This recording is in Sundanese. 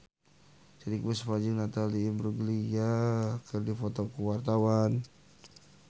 Titiek Puspa jeung Natalie Imbruglia keur dipoto ku wartawan